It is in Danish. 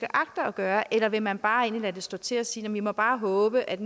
agter at gøre eller vil man bare lade stå til og sige vi må bare håbe at